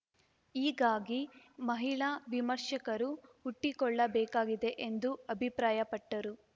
ಹೀಗಾಗಿ ಮಹಿಳಾ ವಿಮರ್ಶಕರು ಹುಟ್ಟಿಕೊಳ್ಳಬೇಕಾಗಿದೆ ಎಂದು ಅಭಿಪ್ರಾಯಪಟ್ಟರು